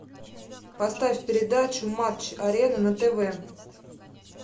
поставь передачу матч арена на тв